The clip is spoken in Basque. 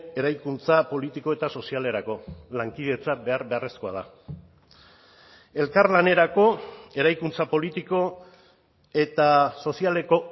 eraikuntza politiko eta sozialerako lankidetza behar beharrezkoa da elkarlanerako eraikuntza politiko eta sozialeko